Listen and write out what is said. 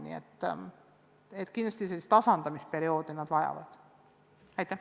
Nii et kindlasti sellist tasandamisperioodi need lapsed vajavad.